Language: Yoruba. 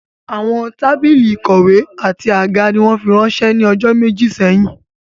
Àwọn tábìlì ìkọ̀wé àti àga ni wọ́n fi ránsẹ́ ní ọjọ́ méjì sẹ́yìn